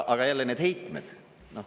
Aga jälle need heitmed…